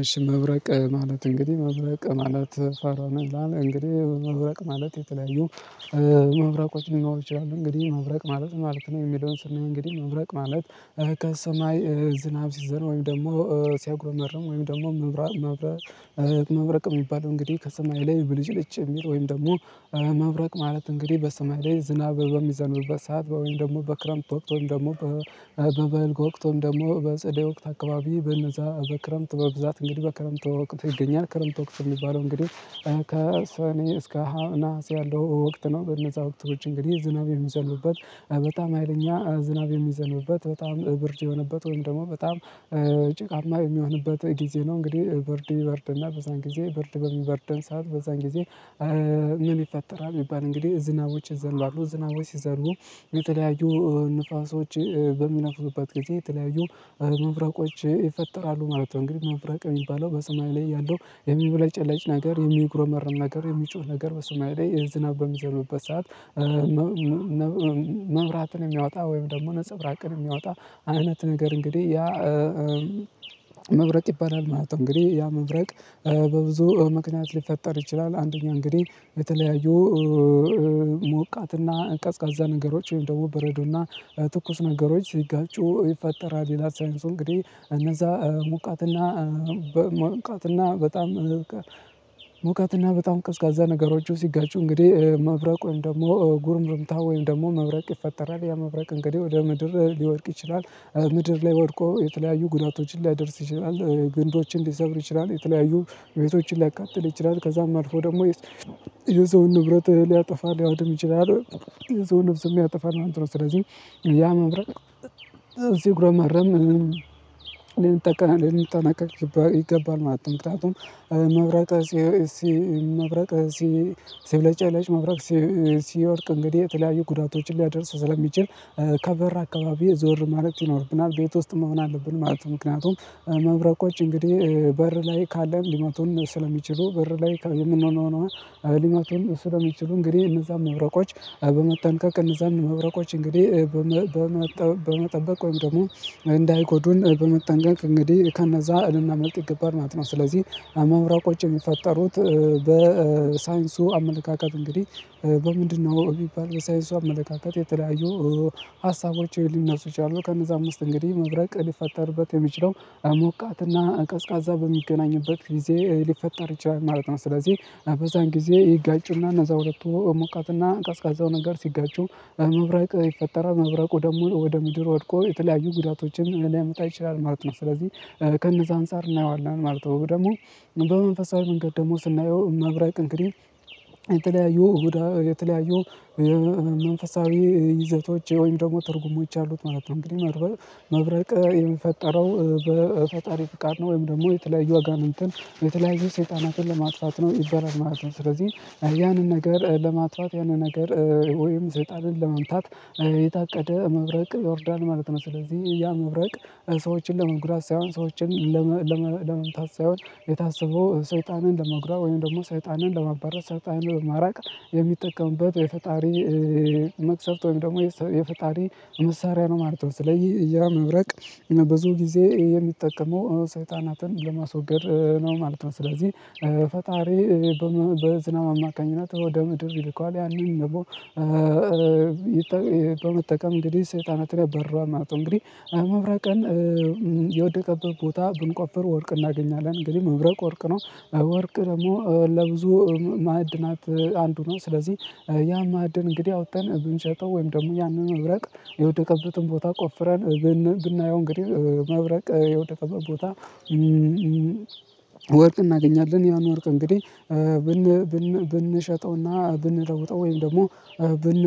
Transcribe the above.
እሺ መብረቅ ማለት እንግዲህ መብረቅ ማለት ፈርማን እንግዲህ መብረቅ ማለት የተለያዩ መብረቆች ሊኖሩ ይችላሉ። እንግዲህ መብረቅ ማለት ማለት ነው። የሚለውን ስናይ እንግዲህ መብረቅ ማለት ከሰማይ ዝናብ ሲዘንም ወይም ደግሞ ሲያጉረመርም ወይም ደግሞ መብራት መብረቅ የሚባለው እንግዲህ ከሰማይ ላይ ብልጭልጭ የሚል ወይም ደግሞ። መብረቅ ማለት እንግዲህ በሰማይ ላይ ዝናብ በሚዘነብበት ሰዓት ወይም ደግሞ በክረምት ወቅት ወይም ደግሞ በበልግ ወቅትን ደግሞ በጸደይ ወቅት አካባቢ በነዛ በክረምት በብዛት እንግዲህ በክረምት ወቅት ይገኛል። ክረምት ወቅት የሚባለው እንግዲህ ከሰኔ እስከ ሀነሃስ ያለው ወቅት ነው። በነዛ ወቅቶች እንግዲህ ዝናብ የሚዘንብበት በጣም ሀይለኛ ዝናብ የሚዘንብበት በጣም ብርድ የሆነበት ወይም ደግሞ በጣም ጭቃማ የሚሆንበት ጊዜ ነው። እንግዲህ ብርድ ይበርድ እና በዛን ጊዜ ብርድ በሚበርደን ሰዓት በዛን ጊዜ? ምን ይፈጠራል ቢባል እንግዲህ ዝናቦች ይዘንባሉ ዝናቦች ሲዘንቡ የተለያዩ ንፋሶች በሚነፍሱበት ጊዜ የተለያዩ መብረቆች ይፈጠራሉ ማለት ነው። እንግዲህ መብረቅ የሚባለው በስማይ ላይ ያለው የሚብለጨለጭ ነገር የሚግሮመረም ነገር የሚጮህ ነገር በስማይ ላይ የዝናብ በሚዘንብበት ሰዓት መብራትን ሚያወጣ ወይም ደግሞ ነፀብራቅን ሚያወጣ አይነት ነገር እንግዲህ ያ። መብረቅ ይባላል ማለት ነው። እንግዲህ ያ መብረቅ በብዙ ምክንያት ሊፈጠር ይችላል። አንደኛ እንግዲህ በተለያዩ ሞቃትና ቀዝቃዛ ነገሮች ወይም ደግሞ በረዶና ትኩስ ነገሮች ሲጋጩ ይፈጠራል። ይላል ሳይንሱ እንግዲህ እነዛ ሙቃትና ሙቃትና በጣም በጣም ቀዝቃዛ ነገሮች ሲጋጩ እንግዲህ መብረቁን ደግሞ ጉርምርምታ ወይም ደግሞ መብረቅ ይፈጠራል ያ መብረቅ እንግዲህ ወደ ምድር ሊወድቅ ይችላል። ምድር ላይ ወድቆ የተለያዩ ጉዳቶችን ሊያደርስ ይችላል ግንዶችን ሊሰብር ይችላል የተለያዩ ቤቶችን ሊያቃጥል ይችላል ከዛም አልፎ ደግሞ የሰውን ንብረት ሊያጠፋ ሊያወድም ይችላል። የሰውን ነብስም ያጠፋናል ማለት ነው። ስለዚህ ያ መብረቅ ሲጉረመረም ልንጠቀ ልንጠነቀቅ ይገባል ማለት ነው። ምክንያቱም መብረቅ መብረቅ ሲ ሲብለጨለጭ መብረቅ ሲወድቅ እንግዲህ የተለያዩ ጉዳቶችን ሊያደርስ ስለሚችል ከበር አካባቢ ዞር ማለት ይኖርብናል ቤት ውስጥ መሆን አለብን ማለት ነው። ምክንያቱም መብረቆች እንግዲህ በር ላይ ካለን ሊመቱን ስለሚችሉ በር ላይ የምንሆነው ሊመቱን ስለሚችሉ እንግዲህ እነዛን መብረቆች በመጠንቀቅ እነዛን መብረቆች እንግዲህ በመጠበቅ ወይም ደግሞ እንዳይጎዱን በመጠንቀቅ እንግዲህ ከነዛ ልናመልጥ ይገባል ማለት ነው። ስለዚህ መብሮቆች የሚፈጠሩት በሳይንሱ አመለካከት እንግዲህ በምንድነው ቢባል በሳይንሱ አመለካከት የተለያዩ ሀሳቦች ሊነሱ ይችላሉ። ከነዛም ዉስጥ እንግዲህ መብረቅ ሊፈጠርበት የሚችለው ሞቃትና ቀዝቃዛ በሚገናኝበት ጊዜ ሊፈጠር ይችላል ማለት ነው። ስለዚህ በዛን ጊዜ ይጋጩና እነዛ ሁለቱ ሞቃትና ቀዝቃዛው ነገር ሲጋጩ መብረቅ ይፈጠራል መብረቁ ደግሞ ወደ ምድር ወድቆ የተለያዩ ጉዳቶችን ሊያመጣ ይችላል ማለት ነው። ስለዚህ ከነዛ አንፃር እናየዋለን ማለት ነው። ደግሞ በመንፈሳዊ መንገድ ደግሞ ስናየው መብራቅ እንግዲህ የተለያዩ እሁዳ የተለያዩ መንፈሳዊ ይዘቶች ወይም ደግሞ ትርጉሞች አሉት ማለት ነው። እንግዲህ መብረቅ የፈጠረው በፈጣሪ ፍቃድ ነው ወይም ደግሞ የተለያዩ አጋንንትን የተለያዩ ሰይጣናትን ለማጥፋት ነው ይባላል ማለት ነው። ስለዚህ ያንን ነገር ለማጥፋት ያንን ነገር ወይም ሰይጣንን ለመምታት የታቀደ መብረቅ ይወርዳል ማለት ነው። ስለዚህ ያ መብረቅ ሰዎችን ለመጉዳት ሳይሆን ሰዎችን ለመምታት ሳይሆን የታሰበው ሰይጣንን ለመጉዳት ወይም ደግሞ ሰይጣንን ለማባረር ሰይጣንን ማራቅ የሚጠቀምበት የፈጣሪ መቅሰፍት ወይም ደግሞ የፈጣሪ መሳሪያ ነው ማለት ነው። ስለዚህ ያ መብረቅ ብዙ ጊዜ የሚጠቀመው ሰይጣናትን ለማስወገድ ነው ማለት ነው። ስለዚህ ፈጣሪ በዝናብ አማካኝነት ወደ ምድር ይልከዋል ያንን ደግሞ በመጠቀም እንግዲህ ሰይጣንትን ያባርረዋል ማለት ነው። እንግዲህ መብረቅን የወደቀበት ቦታ ብንቆፍር ወርቅ እናገኛለን። እንግዲህ መብረቅ ወርቅ ነው ወርቅ ደግሞ ለብዙ ማዕድናት አንዱ ነው። ስለዚህ ያ ማዕድን እንግዲህ አውጥተን ብንሸጠው ወይም ደግሞ ያንን መብረቅ የወደቀበትን ቦታ ቆፍረን ብናየው እንግዲህ መብረቅ የወደቀበት ቦታ ወርቅ እናገኛለን ያን ወርቅ እንግዲህ ብን ብን ብንሸጠውና ብንለውጠው ወይም ደግሞ ብን